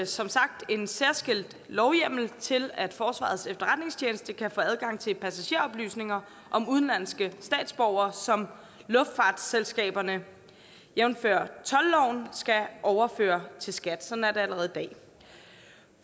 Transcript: som sagt en særskilt lovhjemmel til at forsvarets efterretningstjeneste kan få adgang til passageroplysninger om udenlandske statsborgere som luftfartsselskaberne jævnfør toldloven skal overføre til skat sådan er det allerede i dag